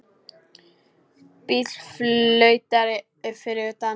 Bíll flautar fyrir utan.